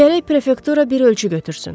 Gərək prefektura bir ölçü götürsün.